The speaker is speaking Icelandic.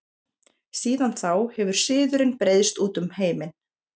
Síðan þá hefur siðurinn breiðst út um heiminn.